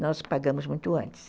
Nós pagamos muito antes.